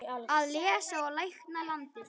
Að lesa og lækna landið.